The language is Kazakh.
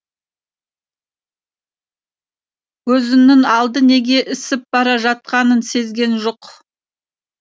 көзінің алды неге ысып бара жатқанын сезген жоқ